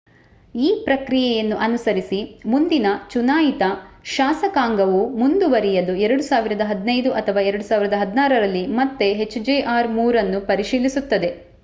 ಈ ಪ್ರಕ್ರಿಯೆಯನ್ನು ಅನುಸರಿಸಿ ಮುಂದಿನ ಚುನಾಯಿತ ಶಾಸಕಾಂಗವು ಮುಂದುವರಿಯಲು 2015 ಅಥವಾ 2016 ರಲ್ಲಿ ಮತ್ತೆ ಎಚ್‌ಜೆಆರ್ -3 ಅನ್ನು ಪರಿಶೀಲಿಸುತ್ತದೆ